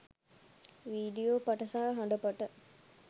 video පට සහ හඬ පට